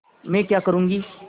मैं क्या करूँगी